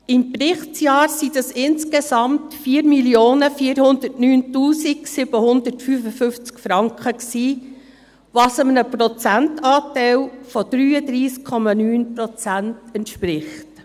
Im Berichtsjahr waren dies insgesamt 4 409 755 Franken, was einem Prozentanteil von 33,9 Prozent entspricht.